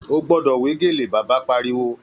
Ó gbọ́dọ̀ wé gèlè, Bàbá Pariwo